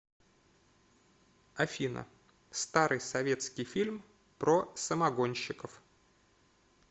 афина старый советский фильм про самогонщиков